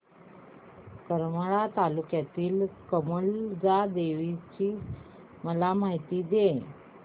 करमाळा तालुक्यातील कमलजा देवीची मला माहिती दे